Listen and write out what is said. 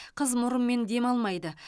қыз мұрынмен демалмайды